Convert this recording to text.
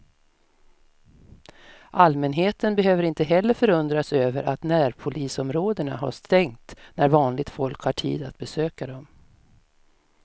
Allmänheten behöver inte heller förundras över att närpolisområdena har stängt när vanligt folk har tid att besöka dem.